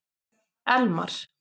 Elmar